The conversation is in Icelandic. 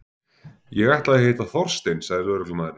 Ég ætlaði að hitta Þorstein sagði lögreglumaðurinn.